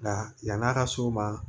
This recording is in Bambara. Nka yan'a ka s'o ma